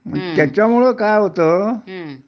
त्याच्यामुळं काय होत